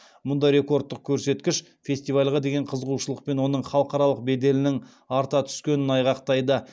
мұндай рекордтық көрсеткіш фестивальға деген қызығушылық пен оның халықаралық беделінің арта түскенін айғақтайды